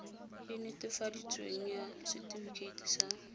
e netefaditsweng ya setefikeiti sa